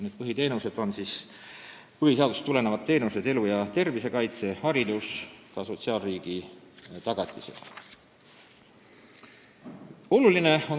Need põhiteenused on põhiseadusest tulenevad teenused: elu ja tervise kaitse, haridus, ka sotsiaalriigi tagatised.